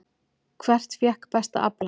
Hvert fékk besta aflann?